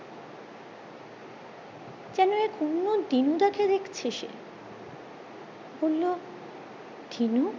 যেন এক অন্য দিনু দা কে দেখছে সে বললো দিনু